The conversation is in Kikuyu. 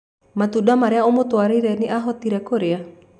Matunda marĩa ũmũtwarĩire nĩ ahotire kũrĩa?